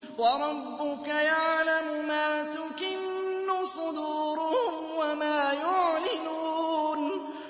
وَرَبُّكَ يَعْلَمُ مَا تُكِنُّ صُدُورُهُمْ وَمَا يُعْلِنُونَ